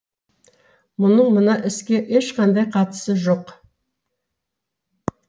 мұның мына іске ешқандай қатысы жоқ